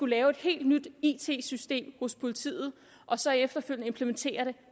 lave et helt nyt it system hos politiet og så efterfølgende implementere